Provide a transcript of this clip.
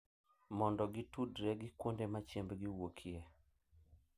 Mondo gitudre gi kuonde ma chiembgi wuokie,